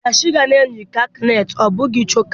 Dash ga-eyi kakanetị ọ bụghị chokaa.